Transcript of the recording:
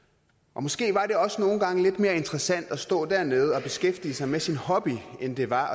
og måske var det også nogle gange lidt mere interessant at stå dernede og beskæftige sig med sin hobby end det var